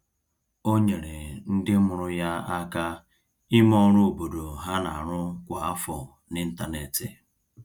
O nyeere ndị mụrụ ya aka ime ọrụ obodo ha n'arụ kwa afọ n’ịntanetị.